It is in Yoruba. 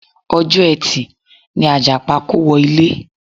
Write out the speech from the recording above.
Ọjọ́ ẹtì ni Àjàpá kówọ ilé.